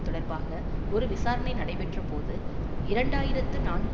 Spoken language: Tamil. தொடர்பாக ஒரு விசாரணை நடைபெற்றபோது இரண்டு ஆயிரத்தி நான்கு